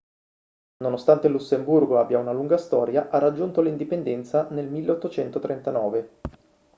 nonostante il lussemburgo abbia una lunga storia ha raggiunto l'indipendenza nel 1839